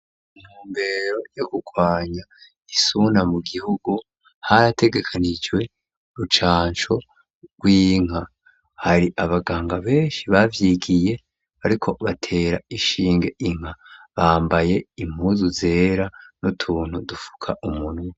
Mu ntumbero yo gukwanya isuna mu gihugu harategekanijwe rucanco rw'inka, hari abaganga benshi bavyigiye bariko batera inshinge inka, bambaye impuzu zera n'utuntu dufuka umunwa.